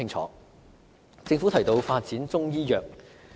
此外，政府提到發展中醫藥。